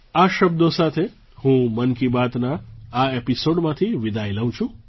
આ શબ્દો સાથે હું મન કી બાતના આ એપિસૉડમાંથી વિદાય લઉં છું